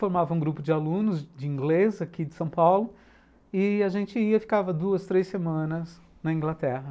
Formava um grupo de alunos, de inglês, aqui de São Paulo, e a gente ia, ficava duas, três semanas na Inglaterra.